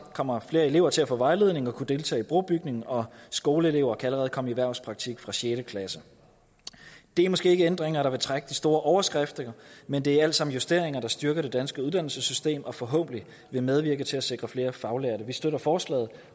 kommer flere elever til at få vejledning og kunne deltage i brobygning og skoleelever kan allerede komme i erhvervspraktik fra sjette klasse det er måske ikke ændringer der vil trække de store overskrifter men det er alt sammen justeringer der styrker det danske uddannelsessystem og forhåbentlig vil medvirke til at sikre flere faglærte vi støtter forslaget